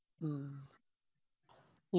ഉം